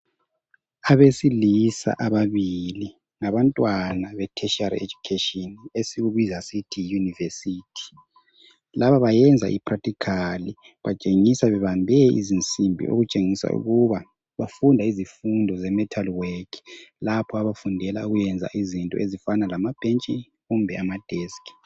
Abesilisa ababili, ngabantwana be tertiary education, esikubiza sithi yi yunivesithi. Laba bayenza i practical, batshengisa bebambe izinsimbi okutshengisa ukuba bafunda izifundo ze metal work, lapho abafundela ukuyenza izinto ezifana lama bhentshi kumbe ama deski.